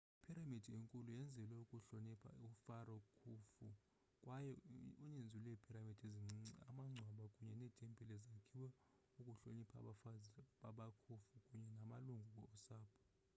iphiramidi enkulu yenzelwe ukuhlonipha ufaro khufu kwaye uninzi lweepiramidi ezincinci amangcwaba kunye neetempile zakhiwa ukuhlonipha abafazi bakakhufu kunye namalungu osapho